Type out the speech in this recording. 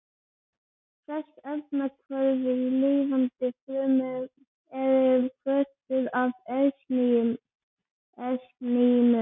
Flest efnahvörf í lifandi frumu eru hvötuð af ensímum.